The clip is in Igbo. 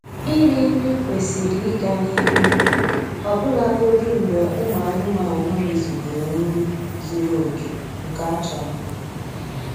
Iri nri kwesịrị ịga n'ihu ọbụlagodi mgbe ụmụ anụmanụ rizugoro nri zuru oke nke a chọrọ